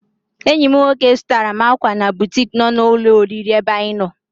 Enyi m nwoke zụtara m ákwà na butik nọ na ụlọ oriri ebe anyị nọ.